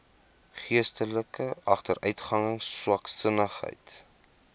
geestelike agteruitgang swaksinnigheid